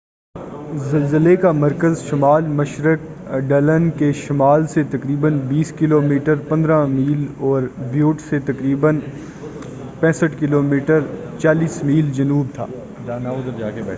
زلزلے کا مرکز شمال مشرق ڈلن کے شمال سے تقریباً 20 کلو میٹر 15 میل، اور بیوٹ سے تقریباً 65 کلو میٹر 40 میل جنوب تھا۔